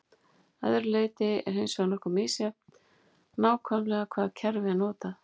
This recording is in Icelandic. að öðru leyti er hins vegar nokkuð misjafnt nákvæmlega hvaða kerfi er notað